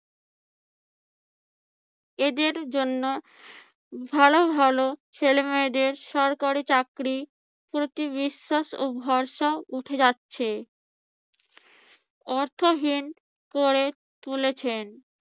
এদের জন্য ভালো ভালো ছেলেমেয়েদের সরকারি চাকরির প্রতি বিশ্বাস ও ভরসা উঠে যাচ্ছে। অর্থহীন করে তুলেছেন